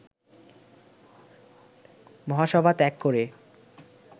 মহাসভা ত্যাগ করে